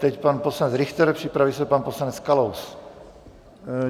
Teď pan poslanec Richter, připraví se pan poslanec Kalous.